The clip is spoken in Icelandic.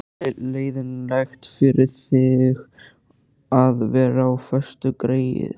Leiðinlegt fyrir þig að vera á föstu, greyið.